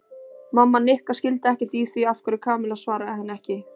Mamma Nikka skildi ekkert í því af hverju Kamilla svaraði henni ekki.